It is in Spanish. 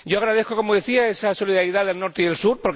Yo agradezco, como decía, esa solidaridad del Norte y del Sur.